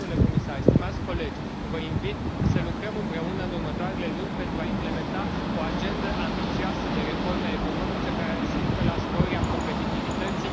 Domnule comisar, stimați colegi, vă invit să lucrăm împreună în următoarele luni pentru a implementa o agendă ambițioasă de reforme economice care să ducă la sporirea competitivității.